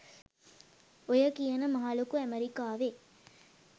ඔය කියන මහ ලොකු ඇමරිකාවේ